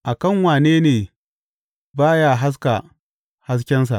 A kan wane ne ba ya haska haskensa?